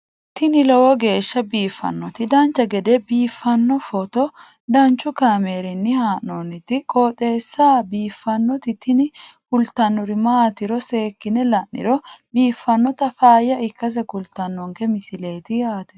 tini lowo geeshsha biiffannoti dancha gede biiffanno footo danchu kaameerinni haa'noonniti qooxeessa biiffannoti tini kultannori maatiro seekkine la'niro biiffannota faayya ikkase kultannoke misileeti yaate